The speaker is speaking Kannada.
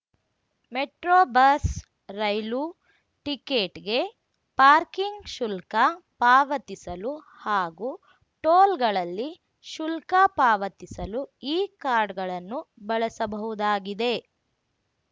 ಮೆಟ್ರೊ ಬಸ್ ರೈಲು ಟಿಕೇಟ್‌ಗೆ ಪಾರ್ಕಿಂಗ್ ಶುಲ್ಕ ಪಾವತಿಸಲು ಹಾಗೂ ಟೋಲ್‌ಗಳಲ್ಲಿ ಶುಲ್ಕ ಪಾವತಿಸಲು ಈ ಕಾರ್ಡ್‌ಗಳನ್ನು ಬಳಸಬಹುದಾಗಿದೆ